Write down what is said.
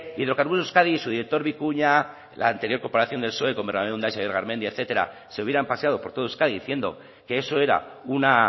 hidrocarburos euskadi y su director vicuña la anterior corporación del psoe garmendia etcétera se hubieran paseado por todo euskadi diciendo que eso era una